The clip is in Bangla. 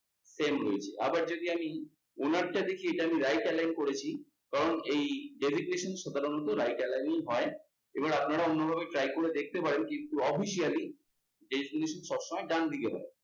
same রয়েছে। আবার যদি আমি owner টা লিখে আমি right align করেছি। কারণ এই সাধারণত right align হয়. এবার আপনারা অন্যভাবে try করে দেখতে পারেন কিন্তু, officially detination সবসময় ডানদিকে হয়।